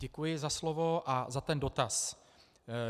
Děkuji za slovo a za ten dotaz.